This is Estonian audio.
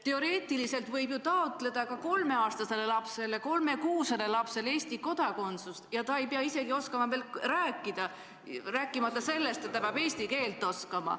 Teoreetiliselt võib ju taotleda ka kolmeaastasele või kolmekuusele lapsele Eesti kodakondsust, ja ta ei pea isegi oskama veel rääkida, rääkimata sellest, et ta peab eesti keelt oskama.